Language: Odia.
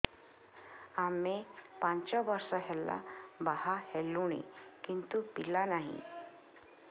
ଆମେ ପାଞ୍ଚ ବର୍ଷ ହେଲା ବାହା ହେଲୁଣି କିନ୍ତୁ ପିଲା ନାହିଁ